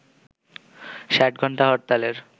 ৬০-ঘণ্টা হরতালের